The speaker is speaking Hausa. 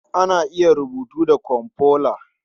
Ana iya rubutu da komfuta.